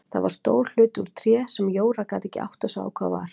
Það var stór hlutur úr tré sem Jóra gat ekki áttað sig á hvað var.